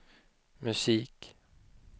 musik